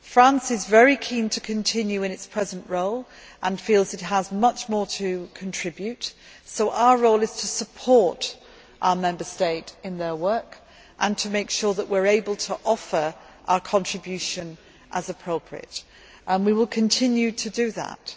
France is very keen to continue in its present role and feels it has much more to contribute, so our role is to support our Member State in its work and to make sure that we are able to offer our contribution as appropriate, and we will continue to do that.